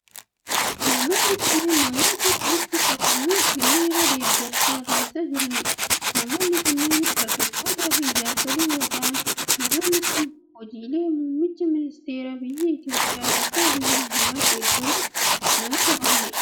Namoonni kunneen namoota walitti qabamuun hiriira deeggarsaa taasisaa jiranii dha. Namoonni kunneen dargaggoota fi jaarsolii yoo ta'an, namoonni kun hojiilee muummicha ministeeraa biyya Itoophiyaa Doktar Abiyyi Ahimad deeggaruuf namoota bahanii dha.